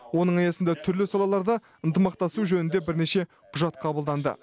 оның аясында түрлі салаларда ынтымақтасу жөнінде бірнеше құжат қабылданды